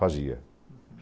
Fazia.